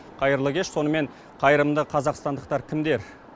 қайырлы кеш сонымен қайырымды қазақстандықтар кімдер